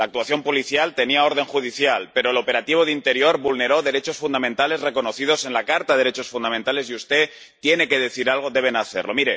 La actuación policial tenía orden judicial, pero el operativo del Ministerio del Interior vulneró derechos fundamentales reconocidos en la Carta de los Derechos Fundamentales, y usted tiene que decir algo, debe hacerlo.